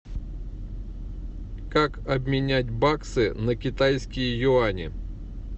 как обменять баксы на китайские юани